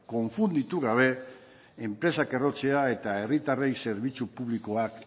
konfunditu gabe enpresak errotzea eta herritarrei zerbitzu publikoa